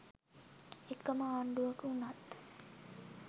එකම ආණ්ඩුවක වුණත්